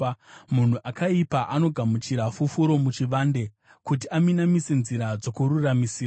Munhu akaipa anogamuchira fufuro muchivande, kuti aminamise nzira dzokururamisira.